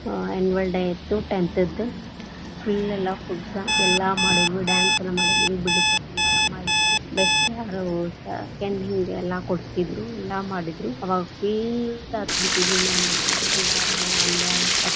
Annual day tenth ದ full ಎಲ್ಲಾ ಮಾಡಿದ್ವಿ dance ಎಲ್ಲಾ ಮಾಡಿದ್ವಿ ಬೀಳ್ಕೊಡುವ ಸಮಾರಂಭ ಇತ್ ಎಲ್ಲಾ ಕೊಡ್ತಿದ್ರು ಎಲ್ಲಾ ಮಾಡಿದ್ರು ಅವಾಗ full ಅತ್ ಬಿಟ್ಟಿದ್ವಿ ನಾವನಕಾರ ಎಲ್ಲಾರ ಮುಂದ.